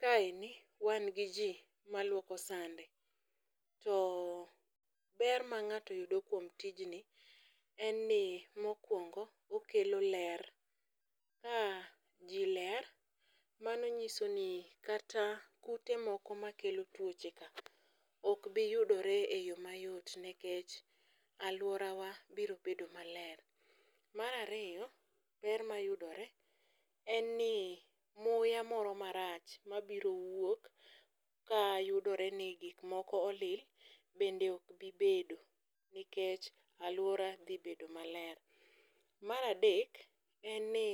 Ka eni, wan gi jii maluoko sande. To ber ma ng'ato yudo kuom tijni, en ni mokwongo, okelo ler. Ka ji ler, mano nyiso ni kata kute moko makelo twoche ka, ok bi yudore e yoo mayot nikech alworawa biro bedo maler. Mar ariyo, ber mayudore en ni muya moro marach mabiro wuok ka yudore ni gik moko olil bende ok bi bedo nikech alwora dhi bedo maler. Mar adek, en ni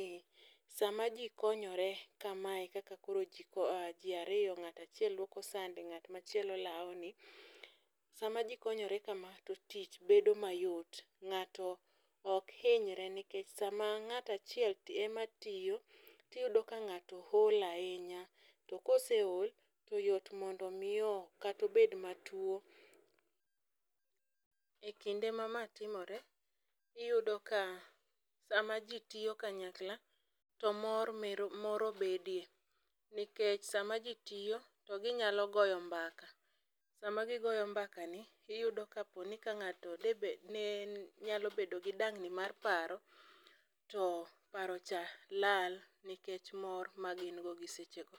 sama jii konyore kamae, kaka koro jii ariyo ng'ato achiel luoko sande ng'at machielo lawoni, sama jii konyore kama, to tich bedo mayot.Ng'ato ok hinyre nikech sama ng'ato achiel ema tiyo, tiyudo ka ng'ato hol ahinya. To koseol, to yot mondo mi kata obed matuo.E kinde ma ma timore, iyudo ka, sama jii tiyo kanyakla, to mor moro bedie nikech sama jii tiyo, to ginyalo goyo mbaka. Sama gigoyo mbakani, iyudo ka poni ka ng'ato de bed ni en, nyalo bedo gi dang'ni mar paro, to paro cha lal nikech mor ma gingo gi sechego.